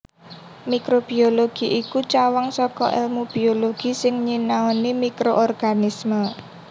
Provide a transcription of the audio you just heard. Mikrobiologi iku cawang saka èlmu biologi sing nyinaoni mikroorganisme